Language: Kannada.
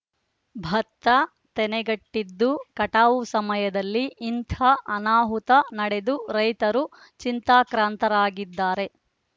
ಭತ್ತ ತೆನೆಗಟ್ಟಿದ್ದು ಕಟಾವು ಸಮಯದಲ್ಲಿ ಇಂಥ ಅನಾಹುತ ನಡೆದು ರೈತರು ಚಿಂತಾಕ್ರಾಂತರಾಗಿದ್ದಾರೆ